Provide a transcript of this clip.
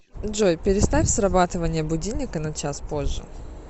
джой переставь срабатывание будильника на час позже